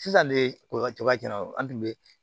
Sisan de koba cɛ an tun bɛ